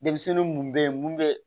Denmisɛnnin mun be yen mun bɛ